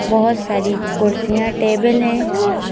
बहुत सारी कुर्सियां टेबल हैं।